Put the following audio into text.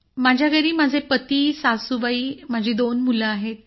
माझ्या घरी माझे पती सासुबाई आणि माझी दोन मुलं आहेत